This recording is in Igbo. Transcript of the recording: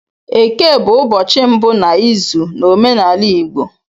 Eke bụ ụbọchị mbụ n'izu n'omenala Igbo